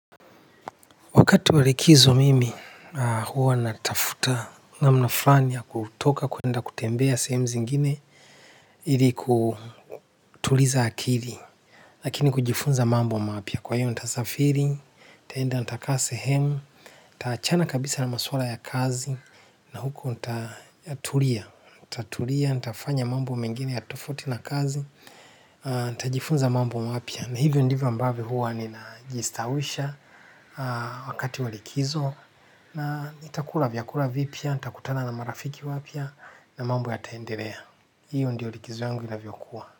Wakati wa likizo mimi huwa natafuta namna fulani ya kutoka kwenda kutembea sehemu zingine ili kutuliza akili. Lakini kujifunza mambo mapya kwa hiyo nitasafiri nitaenda nitakaa sehemu nitaachana kabisa na maswala ya kazi na huko nitatulia nitatulia nitafanya mambo mengine tofauti na kazi nitajifunza mambo mapya na hivyo ndivyo ambavyo huwa nina jistawisha wakati wa likizo na nitakula vyakula vipya, nitakutana na marafiki wapya na mambo yataendelea. Hiyo ndio likizo yangu inavyo kuwa.